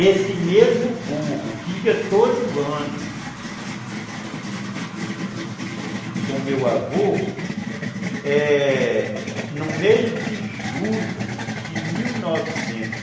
Esse mesmo burro que ia todo ano com meu avô, no mês de julho de mil novecentos e